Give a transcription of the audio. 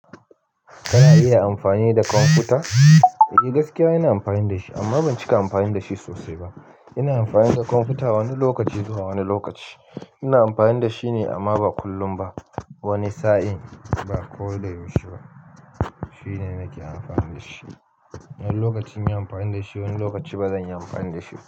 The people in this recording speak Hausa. Kana iya amfani da kwamfuta? Eh gaskiya ina amfani da shi amma ban cika amfani da shi sosai ba. Ina amfani da kwamfuta wani lokaci zuwa wani lokaci. Ina amfani da shine amma ba kullum ba. Wani sa'in ba ko da yaushe ba. Shine nake amfani da shi. Wani lokaci na yi amfani da shi wani lokaci ba zan yi amfani da shi ba.